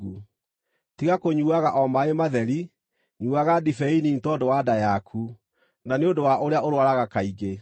Tiga kũnyuuaga o maaĩ matheri, nyuuaga ndibei nini tondũ wa nda yaku, na nĩ ũndũ wa ũrĩa ũrũaraga kaingĩ.